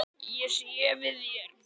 Ég sé við þér.